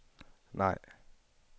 nej